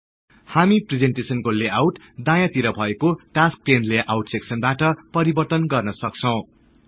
हामी प्रिजेन्टेसनको लेआउट दायाँ तिर भएको टास्कस् पेन लेआउट सेक्सन बाट परिवर्तन गर्न सक्छौं